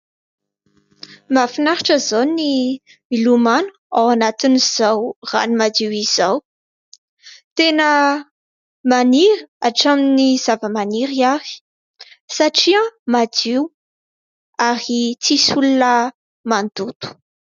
Mahafinaritra zao ny milomano ao anatin'izao rano madio izao. Tena maniry hatramin'ny zava-maniry ary satria madio ary tsy misy olona mandoto.